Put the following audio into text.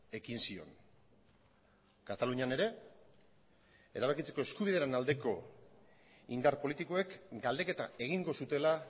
ekin zion katalunian ere erabakitzeko eskubidearen aldeko indar politikoek galdeketa egingo zutela